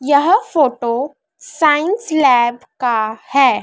यह photo science lab का है।